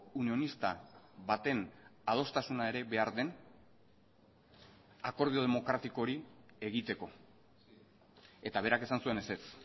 unionista baten adostasuna ere behar den akordio demokratiko hori egiteko eta berak esan zuen ezetz